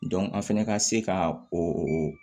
an fɛnɛ ka se ka o